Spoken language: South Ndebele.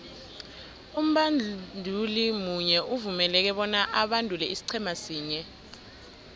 umbanduli munye uvumeleke bona abandule isiqhema sinye